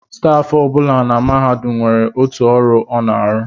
Stafụ ọ bụla na mahadum nwere otu ọrụ ọ na-arụ